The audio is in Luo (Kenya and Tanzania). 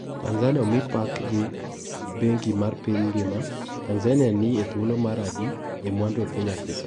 Tanzania omi pak gi bengi mar piny ngima. Tnzania ni e thuolo mar adi e mwandu e piny Afrika.